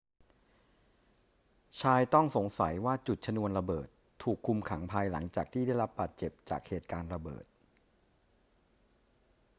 ชายต้องสงสัยว่าจุดชนวนระเบิดถูกคุมขังภายหลังจากที่ได้รับบาดเจ็บจากเหตุการณ์ระเบิด